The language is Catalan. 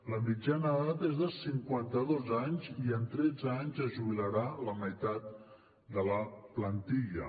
la mitjana d’edat és de cinquanta dos anys i en tretze anys es jubilarà la meitat de la plantilla